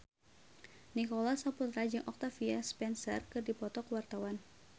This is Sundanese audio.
Nicholas Saputra jeung Octavia Spencer keur dipoto ku wartawan